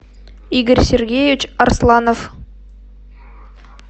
игорь сергеевич арсланов